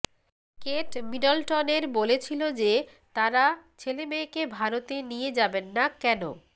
Kate মিডলটনের বলেছিল যে তারা ছেলেমেয়েকে ভারতে নিয়ে যাবেন না কেন